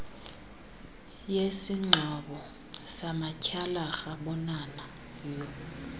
yesingxobo samatyhalarha bonana